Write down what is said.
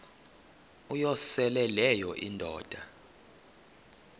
uyosele leyo indoda